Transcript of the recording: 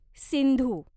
Sindhu